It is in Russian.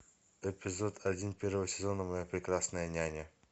эпизод один первого сезона моя прекрасная няня